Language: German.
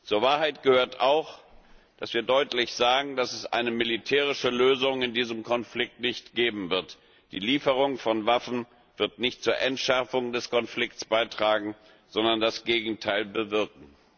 Zur Wahrheit gehört auch, dass wir deutlich sagen, dass es eine militärische Lösung in diesem Konflikt nicht geben wird. Die Lieferung von Waffen wird nicht zur Entschärfung des Konflikts beitragen, sondern das Gegenteil bewirken.